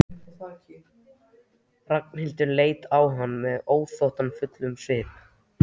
Ragnhildur leit á hann með þóttafullum svip.